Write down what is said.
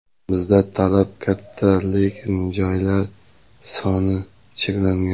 Bizda talab katta, lekin joylar soni cheklangan.